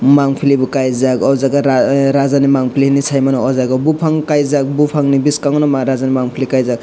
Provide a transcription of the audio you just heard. mamfli bo kaijak aw jaaga raja ni mampli shimano ajaga o bufang kaijak bufang ni bwskango nw maharaj ni mampli kaijak.